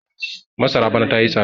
masara bana ta yi tsada